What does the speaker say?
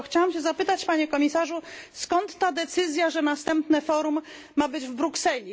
Chciałam tylko zapytać Panie Komisarzu, skąd ta decyzja, że następne Forum ma być w Brukseli.